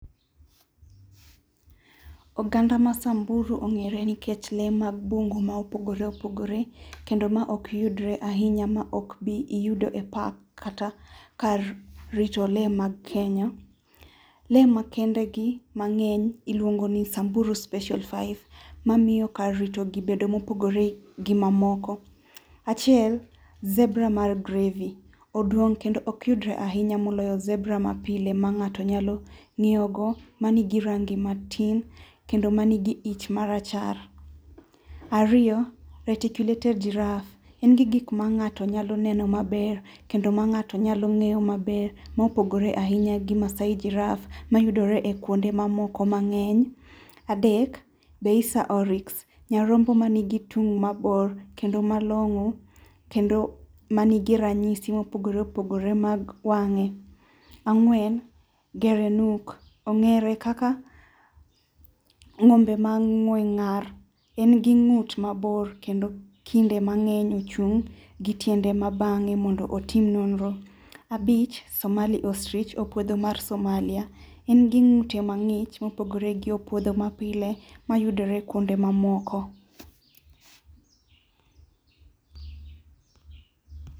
Oganda masamburu ong'ere nikech lee mag bungu ma opogore opogore kendo ma ok yudre ahinya ma ok ibi yudo e park kata kar rito lee mag Kenya. Lee makendegi mang'eny iluongoni samburu special five mamiyo kar ritogi bedo mopogore gi mamoko. Achiel Zebra mar grevy oduong' kendo ok yudre ahinya moloyo zebra mapile mang'ato nyalo ng'iewogo manigi rangi matin kendo manigi it marachar. Ariyo reticulated giraff en gik ma ng'ato neno maber kendo ma ng'ato nyalo ng'eyo maber ma opogore ahinyaa gi maasai jiraff mayudore ekuonde mamoko mang'eny. Adek, beisa oriks nyarombo manigitung mabor kendo malong'o kendo manigi ranyisi mopogore opogore mag wang'e. Ang'wen gerenuk ong'ere kaka ngombe mang'we ngar engi ng'ut mabor kendo kinde mang'eny ochung' gitiende mabang'e mondo otim nonro. Abich Somali oustrich opuodho mar somalia. Engi ng'ute mang'ich mopogore gi opuodho mapile mayudore kuonde mamoko.